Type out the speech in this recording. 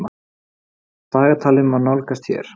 Dagatalið má nálgast hér.